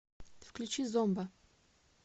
включи зомба